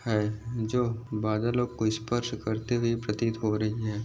है जो बादलो को स्पर्श करते हुए प्रतित हो रही है।